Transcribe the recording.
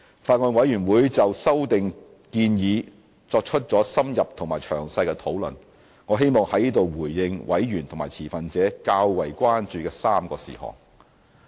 法案委員會就修訂建議作出了深入和詳細的討論，我希望在此回應委員和持份者較為關注的3個事項。